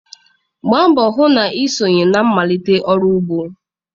Gbaa mbọ hụ na ị sonye na mmalite ọrụ ugbo!